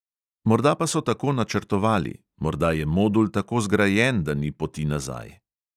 Morda pa so tako načrtovali, morda je modul tako zgrajen, da ni poti nazaj.